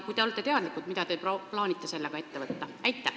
Kui te olete teadlikud, mida te plaanite sellega seoses ette võtta?